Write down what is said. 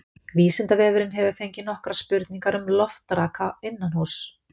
Vísindavefurinn hefur fengið nokkrar spurningar um loftraka innanhúss.